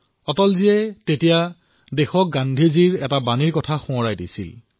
অটলজীয়ে দেশক গান্ধীজীৰ এটা মন্ত্ৰ সোঁৱৰণ কৰাই দিছিল